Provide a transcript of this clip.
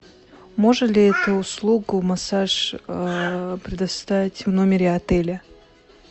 можно ли эту услугу массаж предоставить в номере отеля